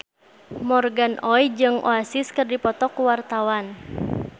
Morgan Oey jeung Oasis keur dipoto ku wartawan